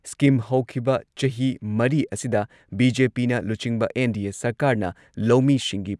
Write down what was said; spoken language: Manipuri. ꯁ꯭ꯀꯤꯝ ꯍꯧꯈꯤꯕ ꯆꯍꯤ ꯃꯔꯤ ꯑꯁꯤꯗ ꯕꯤ.ꯖꯦ.ꯄꯤꯅ ꯂꯨꯆꯤꯡꯕ ꯑꯦꯟ.ꯗꯤ.ꯑꯦ ꯁꯔꯀꯥꯔꯅ ꯂꯧꯃꯤꯁꯤꯡꯒꯤ